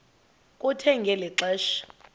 kuthe ngeli xesha